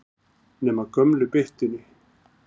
Nema gömlu byttunni.